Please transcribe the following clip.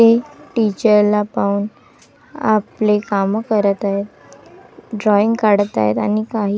मुले टीचर ला पाहून आपले काम करत आहेत. ड्रॉइंग काढतं आहेत आणि काही--